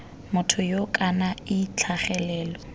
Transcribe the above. motho yoo kana ii tlhagelelo